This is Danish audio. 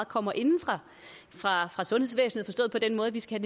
kommer inde fra sundhedsvæsenet forstået på den måde at vi skal